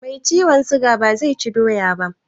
Mai ciwon siga ba zai ci doya ba